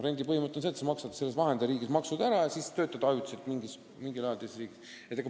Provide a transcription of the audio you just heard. Rendipõhimõte on see, et sa maksad vahendajariigis maksud ära ja siis töötad ajutiselt mingi aja teises riigis.